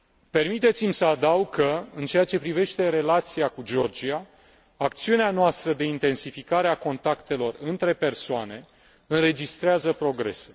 Permiteți mi să adaug că, în ceea ce privește relația cu Georgia, acțiunea noastră de intensificare a contactelor între persoane înregistrează progrese.